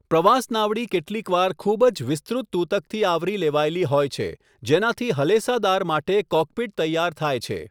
પ્રવાસ નાવડી કેટલીકવાર ખૂબ જ વિસ્તૃત તૂતકથી આવરી લેવાયેલી હોય છે જેનાથી હલેસાદાર માટે 'કૉકપિટ' તૈયાર થાય છે.